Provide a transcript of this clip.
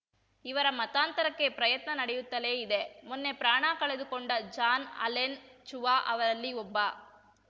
ಇವರ ಮತಾಂತರಕ್ಕೆ ಪ್ರಯತ್ನ ನಡೆಯುತ್ತಲೇ ಇದೆ ಮೊನ್ನೆ ಪ್ರಾಣ ಕಳೆದುಕೊಂಡ ಜಾನ್‌ ಆಲೆನ್‌ ಚುವಾ ಅವರಲ್ಲಿ ಒಬ್ಬ